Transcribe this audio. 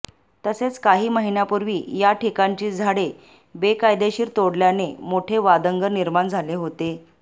तसेच काही महिन्यापूर्वी याठिकाणची झाडे बेकायदेशीर तोडल्याने मोठे वादंग निर्माण झाले होते